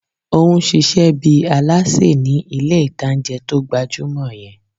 Ó n ṣiṣẹ́ bíi alásè ní ilé ìtanjẹ́ tó gbajúmọ̀ yẹn